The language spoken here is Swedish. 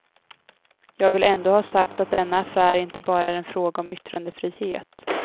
Jag vill ändå ha sagt att denna affär inte bara är en fråga om yttrandefrihet.